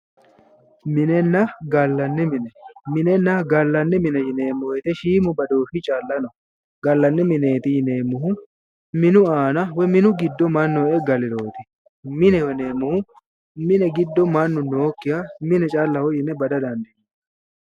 Minenna gallanni mine ,minna gallanni mine yineemo woyite shiimu badooshi calla no.galanni mineeti yineemohu minu aanna woyi minu giddo mannu e'e galirooti, mineho yineemohu mine gido manu nookiha mineho yinne bada dandiineemo.